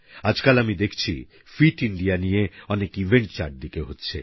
আজকাল আমি দেখছি ফিট ইন্ডিয়া নিয়ে অনেক ইভেন্ট চারদিকে হচ্ছে